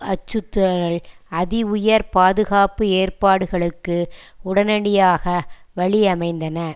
அச்சுறுத்தல்கள் அதி உயர் பாதுகாப்பு ஏற்பாடுகளுக்கு உடனடியாக வழியமைந்தன